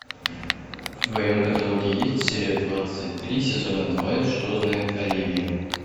в твоем каталоге есть серия двадцать три сезона два что знает оливия